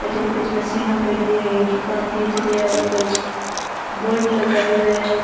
अठीन कुछ मशीना पड़ी है एक दुकान दिख रियो ऊपर बोर्ड लगाइडो है।